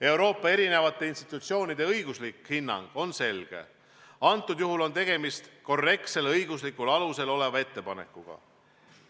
Euroopa eri institutsioonide õiguslik hinnang on selge: antud juhul on tegemist korrektsel õiguslikul alusel oleva ettepanekuga.